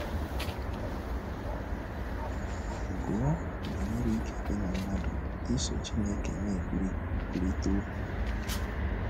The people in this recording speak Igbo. Gụọ banyere ike dị ná mmadụ iso Chineke na - ekwurịta okwu.